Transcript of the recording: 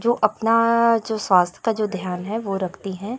जो अपना जो स्वास्थ्य का जो ध्यान हैं वो रखती हैं।